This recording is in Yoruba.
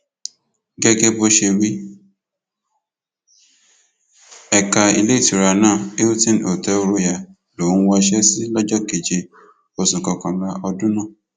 gẹgẹ bó ṣe wí ẹka iléetura náà hilton hotel royal lòún wọṣẹ sí lọjọ keje oṣù kọkànlá ọdún náà